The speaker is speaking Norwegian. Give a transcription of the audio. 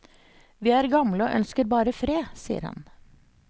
Vi er gamle og ønsker bare fred, sier han.